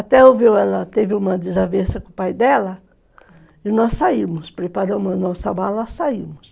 Até houve ela teve uma desavença com o pai dela e nós saímos, preparamos a nossa mala e saímos.